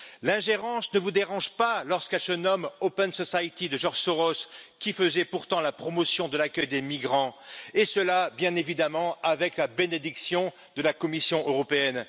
L'ingérence ne vous dérange pas lorsqu'elle se nomme Open Society, de George Soros, qui faisait pourtant la promotion de l'accueil des migrants, et ce bien évidemment avec la bénédiction de la Commission européenne.